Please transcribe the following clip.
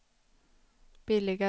billigare